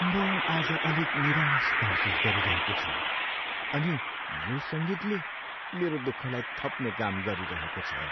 म आज अलिक निराश महसुस गरिरहेको छु अनि यो सङ्गीतले मेरो दुःखलाई थप्ने काम गरिरहेको छ।